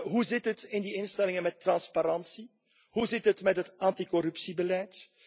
Hoe zit het in die instellingen met transparantie? Hoe zit het met het anticorruptiebeleid?